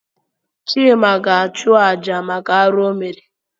Chịma ga-achụ àjà maka arụ o mere.